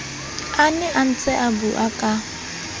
a ne a ntseabua ka